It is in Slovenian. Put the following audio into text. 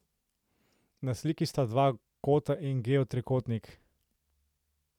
Na sliki sta dva kota in geotrikotnik.